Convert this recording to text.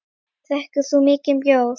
Drekkur þú mikinn bjór?